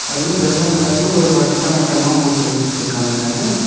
அதுலயு வெள்ளை கலர்ல ஒரு வட்டம் வட்டமா போட்டு வச்சிருக்காங்க.